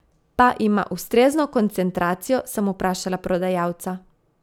Pa ima ustrezno koncentracijo, sem vprašala prodajalca.